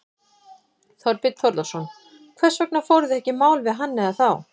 Þorbjörn Þórðarson: Hvers vegna fóruð þið ekki í mál við hann eða þá?